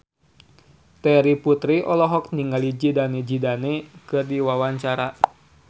Terry Putri olohok ningali Zidane Zidane keur diwawancara